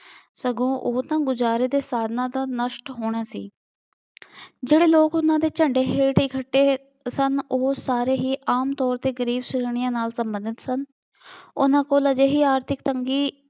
ਸਗੋ ਉਹ ਤਾਂ ਗੁਜ਼ਾਰੇ ਦੇ ਸਾਧਨਾਂ ਦਾ ਨਸ਼ਟ ਹੋਣਾ ਸੀ। ਜਿਹੜੇ ਲੋਕ ਉਹਨਾ ਦੇ ਝੰਢੇ ਹੇਠ ਇਕੱਠੇ ਸਨ ਉਹ ਸਾਰੇ ਹੀ ਆਮ ਤੌਰ ਤੇ ਗਰੀਬ ਸ਼੍ਰੇਣੀਆਂ ਨਾਲ ਸੰਬੰਧਿਤ ਸਨ। ਉਹਨਾ ਕੋਲ ਅਜਿਹੀ ਆਰਥਿਕ ਤੰਗੀ